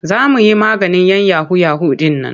Za mu yi maganin 'yan yahu-yahu ɗin nan.